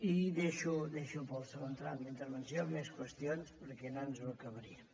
i deixo per al segon tram d’intervenció més qüestions perquè no ens ho acabaríem